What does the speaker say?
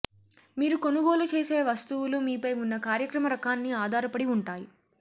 మీరు కొనుగోలు చేసే వస్తువులు మీపై ఉన్న కార్యక్రమ రకాన్ని ఆధారపడి ఉంటాయి